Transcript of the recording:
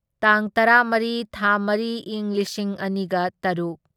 ꯇꯥꯡ ꯇꯔꯥꯃꯔꯤ ꯊꯥ ꯃꯔꯤ ꯢꯪ ꯂꯤꯁꯤꯡ ꯑꯅꯤꯒ ꯇꯔꯨꯛ